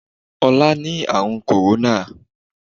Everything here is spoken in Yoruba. ọlá ni àrùn kòróná.